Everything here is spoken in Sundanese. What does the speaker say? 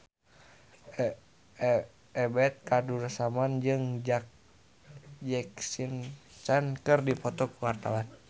Ebet Kadarusman jeung Jackie Chan keur dipoto ku wartawan